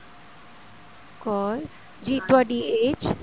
ਕੌਰ ਜੀ ਤੁਹਾਡੀ age